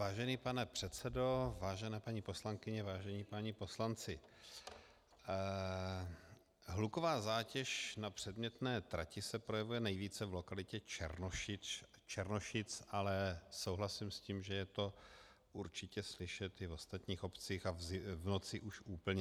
Vážený pane předsedo, vážené paní poslankyně, vážení páni poslanci, hluková zátěž na předmětné trati se projevuje nejvíce v lokalitě Černošic, ale souhlasím s tím, že je to určitě slyšet i v ostatních obcích, a v noci už úplně.